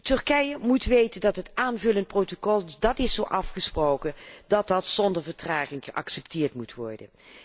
Turkije moet weten dat het aanvullend protocol, dat is zo afgesproken, zonder vertraging geaccepteerd moet worden.